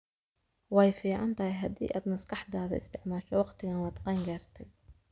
Way fiican tahay haddii aad maskaxdaada isticmaasho wakhtigan waad qeeyn gartaay